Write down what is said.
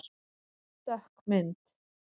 Dökk mynd